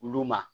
Olu ma